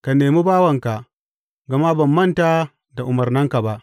Ka nemi bawanka, gama ban manta da umarnanka ba.